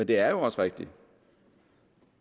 det er også rigtigt